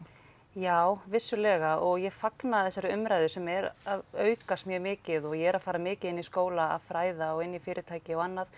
já vissulega og ég fagna þessari umræðu sem er að aukast mjög mikið og ég er að fara mikið inn í skóla að fræða og inn í fyrirtæki og annað